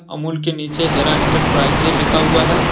अमूल के नीचे हेरा एंटरप्राइजेज लिखा हुआ है।